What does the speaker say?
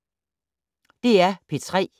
DR P3